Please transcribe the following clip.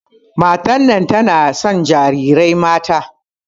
Matar nan tana son jarirai mata.